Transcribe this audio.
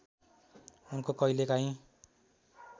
उनको कैलेकाहीँ